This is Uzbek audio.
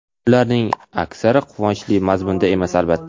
Ularning aksari quvonchli mazmunda emas, albatta.